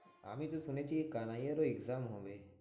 আমিতো শুনেছি কানাইয়ারও exam হবে।